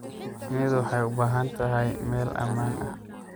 Shinnidu waxay u baahan tahay meel ammaan ah.